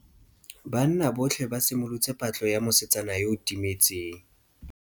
Banna botlhê ba simolotse patlô ya mosetsana yo o timetseng.